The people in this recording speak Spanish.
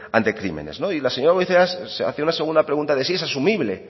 ante crímenes y la señora goirizelaia ha hecho una segunda pregunta de si es asumible